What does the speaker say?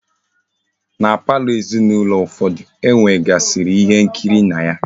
Na palọ ezinaulo ụfọdụ, e nwegasiri ihe nkiri na ya.